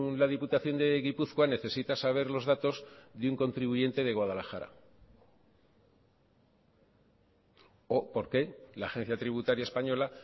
la diputación de gipuzkoa necesita saber los datos de un contribuyente de guadalajara o por qué la agencia tributaria española